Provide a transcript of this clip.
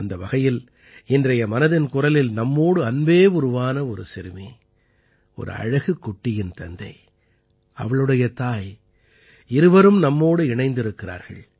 அந்த வகையில் இன்றைய மனதின் குரலில் நம்மோடு அன்பே உருவான ஒரு சிறுமி ஒரு அழகுக் குட்டியின் தந்தை அவளுடைய தாய் இருவரும் நம்மோடு இணைந்திருக்கிறார்கள்